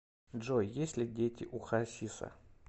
джой есть ли дети у хасиса